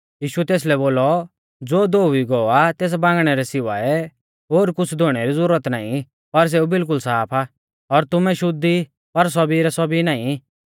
यीशुऐ तेसलै बोलौ ज़ो धोउई गौ आ तेस बांगणै रै सिवाऐ ओर कुछ़ धोउणै री ज़ुरत नाईं पर सेऊ बिलकुल साफ आ और तुमै शुद्ध ई पर सौभी रै सौभी नाईं